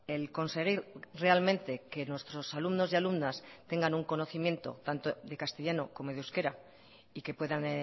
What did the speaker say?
el conseguir realmente que nuestros alumnos y alumnas tengan un conocimiento tanto de castellano como de euskera y que puedan